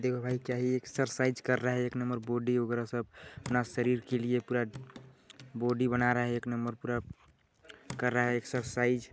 देखो भाई क्या ही एक्सरसाइज कर रहा है एक नंबर बॉडी वगैरह सब अपना शरीर के लिए पूरा बॉडी बना रहा है एक नंबर पूरा कर रहा है एक्सरसाइज --